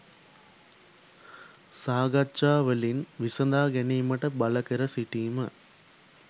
සාකච්ජා වලින් විසඳාගැනීමට බලකර සිටීම